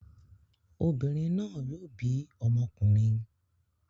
Obìnrin náà yóò bí ọmọkùnrin.